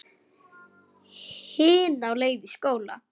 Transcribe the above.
Hin á leið í skóla.